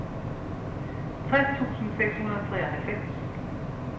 tres tusind seks hundrede og treoghalvfems